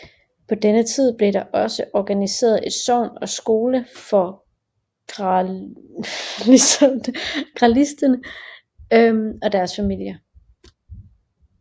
På denne tid blev der også organiseret et sogn og skole for gratialistene og deres familier